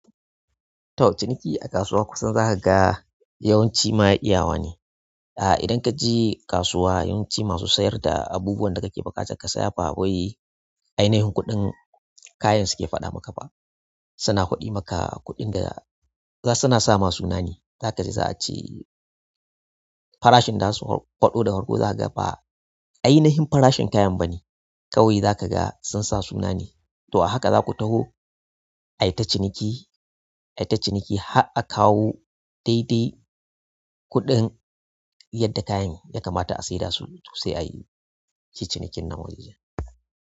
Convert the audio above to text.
To, ciniki a kasuwa kusan za ka ga yawanci ma iyawa ne. Ah, idan ka je kasuwa yawanci masu sayar da abubuwan da kake buƙata ka saya ba wai ainihin kuɗin kayan suke faɗa maka ba. Suna faɗi maka kuɗin da za suna sa ma sunane. Zaka ji za a ce farashin da zasu fado da farko za ka ga fa ainihin farashin kayan ba ne. Kawai za ka ga sun sa suna ne. To a haka za ku tafo ai ta ciniki, ai ta ciniki har a kawo daidai kuɗin yadda kayan ya kamata a sayar dasu sai ayi cinikin na wajejen.